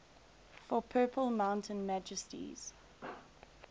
for purple mountain majesties